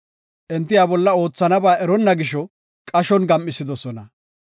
Enti iya bolla oothanaba eriboona gisho qashon gam7isidosona.